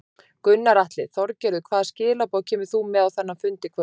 Gunnar Atli: Þorgerður hvaða skilaboð kemur þú með á þennan fund í kvöld?